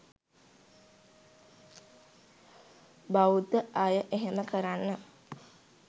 බෞද්ධ අය එහෙම කරන්න